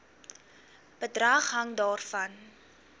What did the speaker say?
bedrag hang daarvan